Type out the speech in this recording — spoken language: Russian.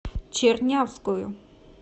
чернявскую